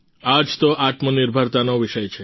આ જ તો આત્મનિર્ભરતાનો વિષય છે